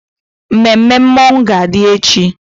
Mmemme mmọnwụ ga-adị echi.